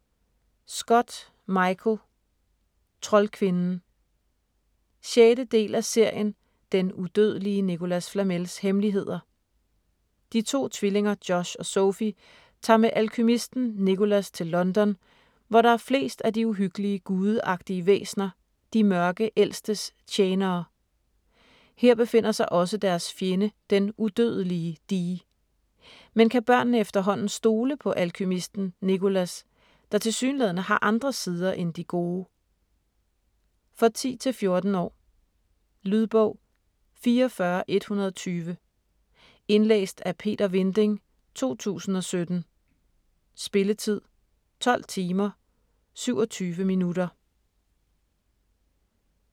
Scott, Michael: Troldkvinden 6. del af serien Den udødelige Nicholas Flamels hemmeligheder. De to tvillinger Josh og Sophie tager med alkymisten Nicholas til London, hvor der er flest af de uhyggelige gudeagtige væsener, De Mørke Ældstes tjenere. Her befinder sig også deres fjende den udødelige Dee. Men kan børnene efterhånden stole på alkymisten Nicholas, der tilsyneladende har andre sider end de gode? For 10-14 år. Lydbog 44120 Indlæst af Peter Vinding, 2017. Spilletid: 12 timer, 27 minutter.